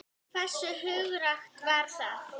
Hversu hugrakkt var það?